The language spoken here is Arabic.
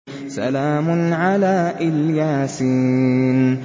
سَلَامٌ عَلَىٰ إِلْ يَاسِينَ